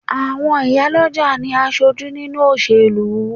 Àwọn ìyá lọ́jà ní aṣojú nínúu òṣèlú